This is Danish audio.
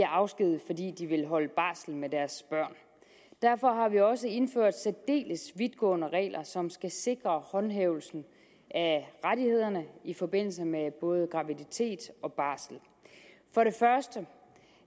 afskediget fordi de vil holde barsel med deres børn derfor har vi også indført særdeles vidtgående regler som skal sikre håndhævelsen af rettighederne i forbindelse med både graviditet og barsel for det første